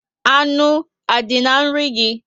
Anụ a dị na nri gị?